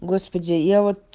господи я вот